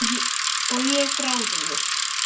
Og ég er gráðug.